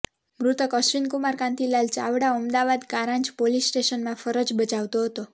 મૃતક અશ્વિન કુમાર કાંતિલાલ ચાવડા અમદાવાદ કાંરજ પોલીસ સ્ટેશનમાં ફરજ બજાવતો હતો